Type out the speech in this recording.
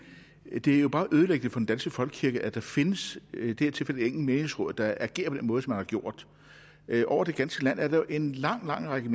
det er jo meget ødelæggende for den danske folkekirke at der findes i det her tilfælde et enkelt menighedsråd der agerer på den måde som man har gjort over det ganske land er der jo en lang lang række